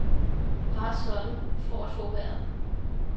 Bare sådan for at få vejret.